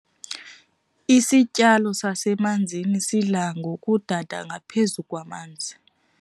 Isityalo sasemanzini sidla ngokudada ngaphezu kwamanzi.